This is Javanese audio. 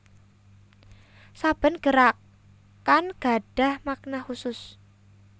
Saben gerakan gadhah makna khusus